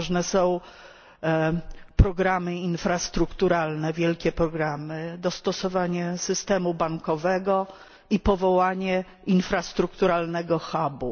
Ważne są programy infrastrukturalne, wielkie programy, dostosowanie systemu bankowego i powołanie infrastrukturalnego hubu.